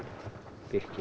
birkinu